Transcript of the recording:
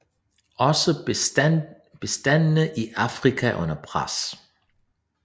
Også bestandene i Afrika er under pres